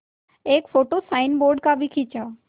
एक photo signboard का भी खींचा